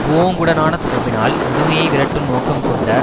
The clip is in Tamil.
புஓங்குடனான தொடர்பினால் முதுமையை விரட்டும் நோக்கம் கொண்ட